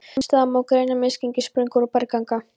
Sums staðar má greina misgengi, sprungur og bergganga.